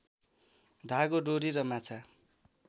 धागो डोरी र माछा